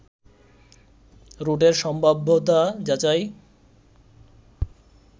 রুটের সম্ভাব্যতা যাচাই